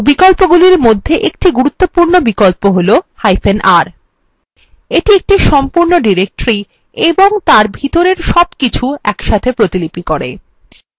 বিকল্পগুলির মধ্যে একটি গুরুত্বপূর্ণ বিকল্প হলr এটি একটি সম্পূর্ণ directory of তার ভিতরের সবকিছু একসাথে প্রতিলিপি করে